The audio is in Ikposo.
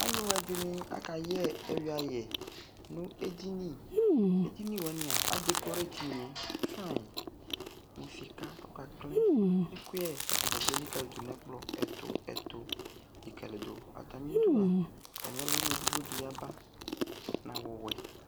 ALU ɛdini akayɛ ɛyui yɛ nu édini édini woani adékoré édini foanyi mu sika kɔkaklɛ kɛ ɛkuyɛ ka atadza kplo élikalidu nɛ ɛ'kplɔ ɛtu ɛtu likalidu atami dua atami ɔluwuini di yaba na awu wɛ